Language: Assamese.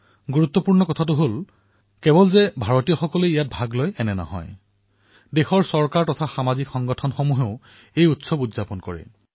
গুৰুত্বপূৰ্ণ কথা এয়ে যে ইয়াত কেৱল ভাৰতীয় সম্প্ৰদায়েই নহয় বৰঞ্চ বহুদেশৰ চৰকাৰ তাৰে নাগৰিক তাৰে সামাজিক সংস্থা সকলোৱে হৰ্ষোল্লাসেৰে দিপাৱলী পালন কৰে